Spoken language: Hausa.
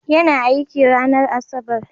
Yana aiki a ranar Asabar.